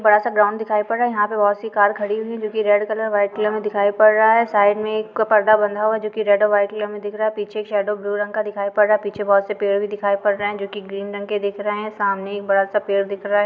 बड़ा सा ग्राउंड दिखाई पड़ रहा हैयहाँ पे बहोत सी कार खड़ी हुई हैं जो की रेड कलर वाइट कलर में दिखाई पड़ रहा हैं साइड में एक पर्दा बंधा हुआ हैजो कि रेड और वाइट कलर में दिख रहा है पीछे एक शैडो ब्लू कलर का दिखाई पड़ रहा हैपीछे बहुत से पेड़ भी दिखाई पड़ रहे हैंजो कि ग्रीन रंग के दिख रहे है सामने एक बड़ा सा पेड़ दिख रहा हैं।